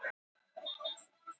Enn mikið um sýkta síld